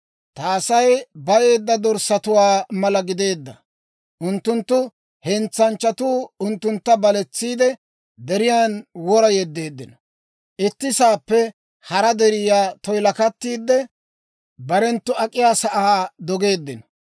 «Ta Asay bayeedda dorssatuwaa mala gideedda; unttunttu hentsanchchatuu unttuntta baletsiide, deriyaan wora yeddeeddino. Itti saappe hara deriyaa toyilakattiidde, barenttu ak'iyaa sa'aa dogeeddino.